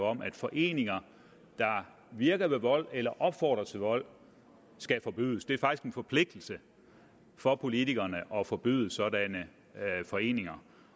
om at foreninger der virker ved vold eller opfordrer til vold skal forbydes det er faktisk en forpligtelse for politikerne at forbyde sådanne foreninger